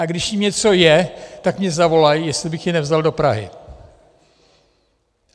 A když jim něco je, tak mě zavolají, jestli bych je nevzal do Prahy.